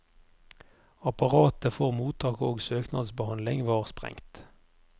Apparatet for mottak og søknadsbehandling var sprengt.